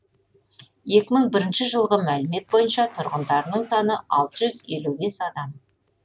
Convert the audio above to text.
екі мың бірінші жылғы мәліметтер бойынша тұрғындарының саны алты жүз елу бес адам